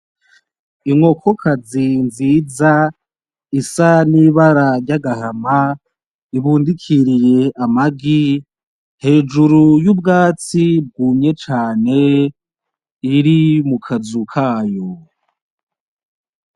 Inkokokazi nziza isa n’ibara ry’agahama ibundikiriye amagi hejuru y’ubwatsi bwumye cane iri mukazu kayo .